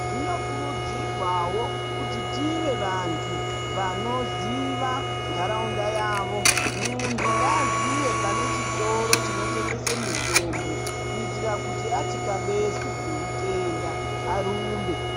Zvinokurudzirwawo kuti tive vantu vanoziva ntaraunda yavo. Muntu ngaaziye pane chitoro chinotengesa mutombo kuitira kuti atikabezwa neutenda arumbe.